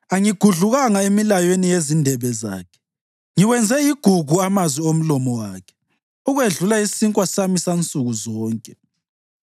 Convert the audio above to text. Angigudlukanga emilayweni yezindebe zakhe; ngiwenze igugu amazwi omlomo wakhe ukwedlula isinkwa sami sansukuzonke.